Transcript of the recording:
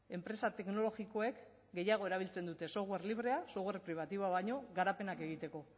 enpresa teknologikoek gehiago erabiltzen dute software librea software privatiboa baino garapenak egiteko